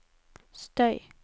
støy